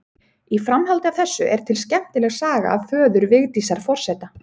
Í framhaldi af þessu er til skemmtileg saga af föður Vigdísar forseta.